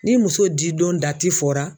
Ni muso didon dati fɔra